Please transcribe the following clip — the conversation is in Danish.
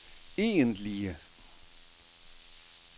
egentlige